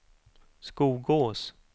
Skogås